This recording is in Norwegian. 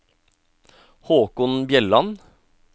Håkon Bjelland